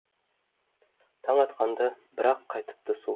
таң атқанда бір ақ қайтыпты су